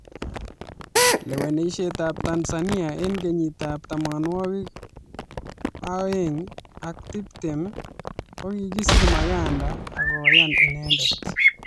Lewenishet ab tanzania eng kenyit ab tamanwakik aweng ak tiptem ,kokikisir makanda ako yan inendet